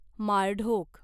माळढोक